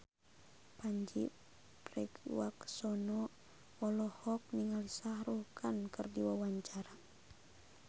Pandji Pragiwaksono olohok ningali Shah Rukh Khan keur diwawancara